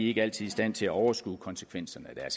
ikke altid i stand til at overskue konsekvenserne af